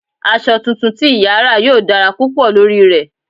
Aṣọ tuntun tí ìyà ra yóò dára púpọ̀ lórí rẹ̀